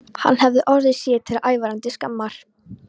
Hann hafði orðið sér til ævarandi skammar.